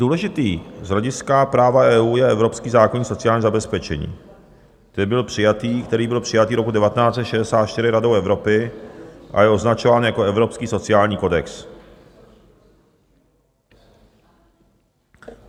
Důležitý z hlediska práva EU je Evropský zákoník sociálního zabezpečení, který byl přijatý roku 1964 Radou Evropy a je označován jako evropský sociální kodex.